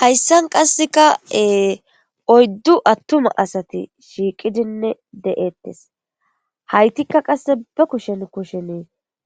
hayssan qasseka ee oyddu attuma asati shiiqidinne de7eettes haytikka qasse ba kushen kushen